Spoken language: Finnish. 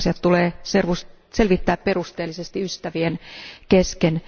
Asiat tulee selvittää perusteellisesti ystävien kesken.